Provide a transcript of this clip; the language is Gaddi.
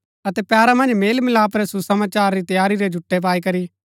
अतै पैरा मन्ज मेलमिलाप रै सुसमाचार री तैयारी रै जुटै पाई करी